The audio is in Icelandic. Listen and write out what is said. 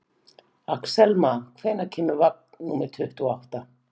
Axelma, hvenær kemur vagn númer tuttugu og átta?